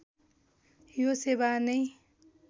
यो सेवा नै